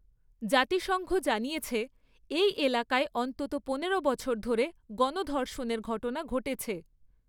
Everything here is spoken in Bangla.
জাতিসংঘ জানিয়েছে, এই এলাকায় অন্তত পনেরো বছর ধরে গণধর্ষণের ঘটনা ঘটেছে।